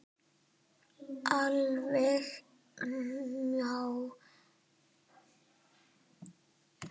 Alveg milljón manns!